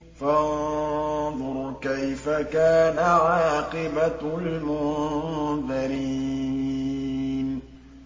فَانظُرْ كَيْفَ كَانَ عَاقِبَةُ الْمُنذَرِينَ